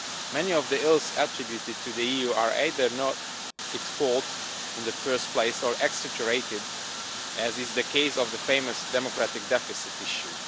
Many of the ills attributed to the EU are either not its fault in the first place, or are exaggerated, as is the case of the famous democratic deficit issue.